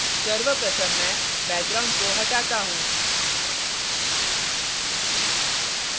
सर्वप्रथम मैं background को हटाता हूँ